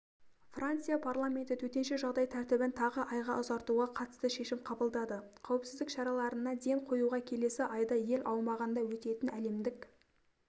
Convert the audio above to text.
франция парламенті төтенше жағдай тәртібін тағы айға ұзартуға қатысты шешім қабылдады қауіпсіздік шараларына ден қоюға келесі айда ел аумағында өтетін әлемдік